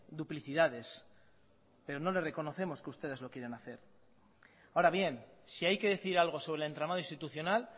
duplicidades pero no le reconocemos que ustedes lo quieran hacer ahora bien si hay que decir algo sobre el entramado institucional